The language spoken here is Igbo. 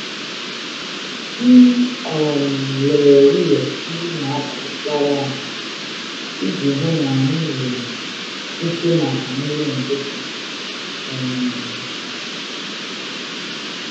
M um lelere ụlọ nri n’abalị gara aga iji hụ na anyị nwere ihe maka nri ụtụtụ. um